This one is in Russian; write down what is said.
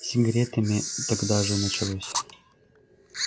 с сигаретами тогда же началось